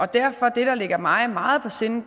derfor er det der ligger mig meget på sinde